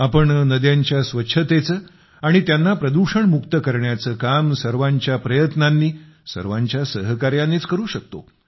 आपण नद्यांच्या स्वच्छतेचे आणि त्यांना प्रदूषण मुक्त करण्याचे काम सर्वांच्या प्रयत्नांनी सर्वांच्या सहकार्याने करूच शकतो